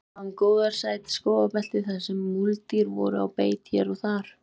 Leiðin lá um gróðursælt skógarbelti þarsem múldýr voru á beit hér og hvar.